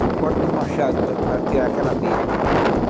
do corte do machado para tirar aquela abelha.